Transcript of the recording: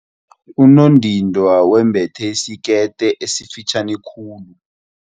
Unondindwa wembethe isikete esifitjhani khulu.